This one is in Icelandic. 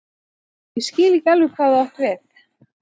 Ég skil ekki alveg hvað þú átt við.